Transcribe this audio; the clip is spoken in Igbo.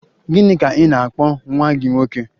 Gịnị ka ị na-akpọ nwa gị nwoke?